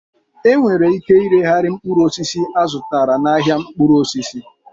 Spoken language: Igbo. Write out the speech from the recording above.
E nwere ike ireghari mkpụrụ osisi azutara n'ahịa mkpụrụ osisi